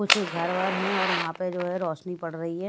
कुछ घर वर हैं और वहां पर जो है रोशनी पड़ रही है।